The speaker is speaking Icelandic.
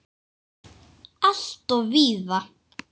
Alltof víða!